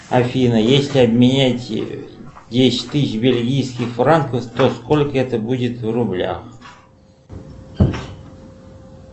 афина если обменять десять тысяч бельгийских франков то сколько это будет в рублях